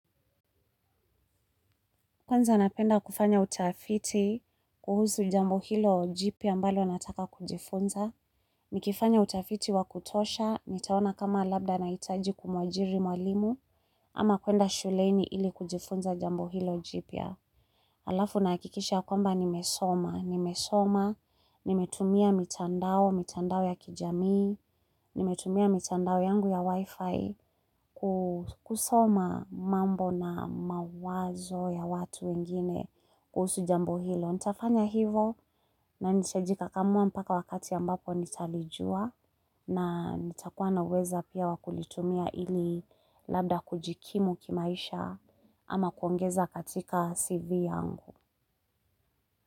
Kwanza napenda kufanya utafiti kuhusu jambo hilo jipya ambalo nataka kujifunza. Nikifanya utafiti wakutosha, nitaona kama labda naitaji kumwajiri mwalimu, ama kwenda shuleini ili kujifunza jambo hilo jipya. Alafu naakikisha kwamba nimesoma, nimesoma, nimetumia mitandao, mitandao ya kijamii, nimetumia mitandao yangu ya wifi kusoma mambo na mawazo ya watu wengine kuhusu jambo hilo. Nitafanya hivo na nitajikakamua mpaka wakati ambapo nitalijua na nitakuwa na uweza pia wakulitumia ili labda kujikimu kimaisha ama kwongeza katika CV yangu.